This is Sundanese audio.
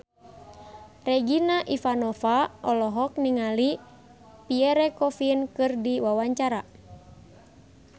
Regina Ivanova olohok ningali Pierre Coffin keur diwawancara